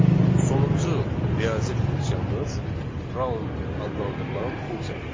Sonuncu riyazi funksiyamız round adlandırılan funksiyadır.